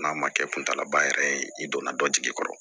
N'a ma kɛ kuntalaba yɛrɛ ye i donna dɔ jigi kɔrɔ